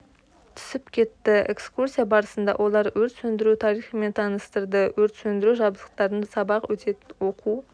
түсіп кетті экскурсия барысында олар өрт сөндіру тарихымен таныстырды өрт сөндіру жабдықтарын сабақ өтетін оқу